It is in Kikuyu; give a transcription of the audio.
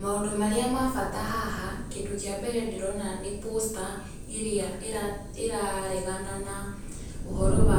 Maũndũ marĩa ma bata haha, kĩndũ kĩa mbere ndĩrona nĩ poster ĩrĩa ĩraregana na ũhoro wa